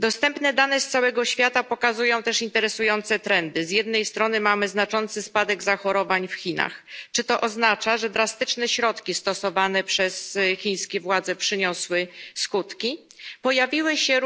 Dostępne dane z całego świata pokazują też interesujące trendy. Z jednej strony mamy znaczący spadek zachorowań w Chinach. Czy to oznacza, że drastyczne środki stosowane przez chińskie władze przyniosły skutki? Pojawiły się